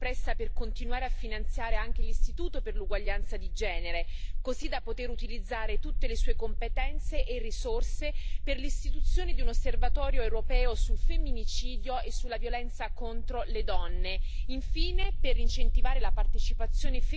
Nella nostra commissione la maggioranza dei colleghi si è espressa per continuare a finanziare anche l'Istituto per l'uguaglianza di genere, così da poter utilizzare tutte le sue competenze e risorse per l'istituzione di un Osservatorio europeo sul femminicidio e sulla violenza contro le donne.